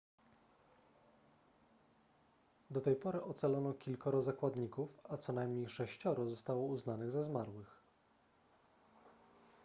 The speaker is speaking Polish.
do tej pory ocalono kilkoro zakładników a co najmniej sześcioro zostało uznanych za zmarłych